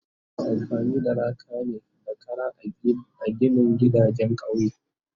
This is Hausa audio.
Ana amfani da laka ne da Kara a ginin gidajen kauye